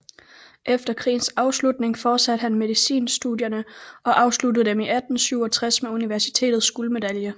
Efter krigens afslutning fortsatte han medicinstudierne og afsluttede dem i 1867 med universitetets guldmedalje